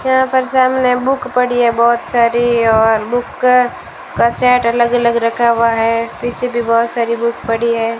यहां पर से हमने बुक पड़ी है बहुत सारी और बुक का सेट अलग-अलग रखा हुआ है पीछे भी बहुत सारी बुक पड़ी है।